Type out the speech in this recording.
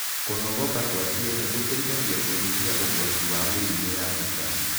Kũnogoka kwa ciĩga gũteĩthagĩa kũnyĩhĩa ũgwatĩ wa mĩrĩmũ ya cũkarĩ